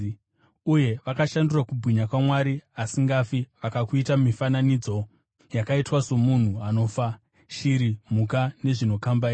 uye vakashandura kubwinya kwaMwari asingafi vakakuita mifananidzo yakaitwa somunhu anofa, shiri, mhuka nezvinokambaira.